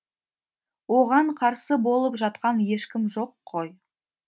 оған қарсы болып жатқан ешкім жоқ қой